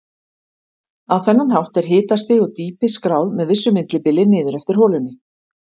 Á þennan hátt er hitastig og dýpi skráð með vissu millibili niður eftir holunni.